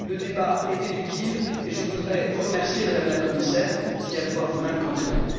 Le débat était utile et je voudrais vous remercier, Madame la Commissaire, d'y avoir vous même contribué.